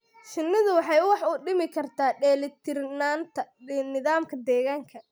Shinnidu waxay wax u dhimi kartaa dheelitirnaanta nidaamka deegaanka.